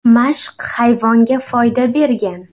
Mashq hayvonga foyda bergan.